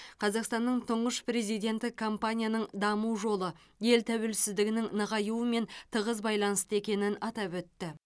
қазақстанның тұңғыш президенті компанияның даму жолы ел тәуелсіздігінің нығаюымен тығыз байланысты екенін атап өтті